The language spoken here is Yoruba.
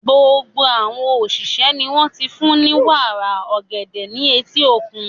Gbogbo àwọn òṣìṣẹ́ ni wọ́n ti fún ní wàrà ọ̀gẹ̀dẹ̀ ní etí òkun.